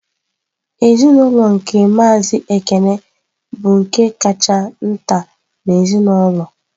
Ezinụlọ nke Maazị Ekene bụ nke kacha nta n'ezinaụlọ.